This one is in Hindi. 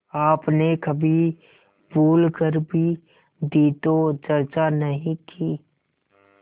आपने कभी भूल कर भी दी तो चर्चा नहीं की